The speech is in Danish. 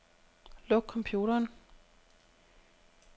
Luk computeren.